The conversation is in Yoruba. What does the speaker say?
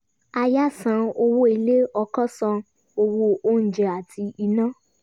aya san owó ilé ọkọ san owó oúnjẹ àti iná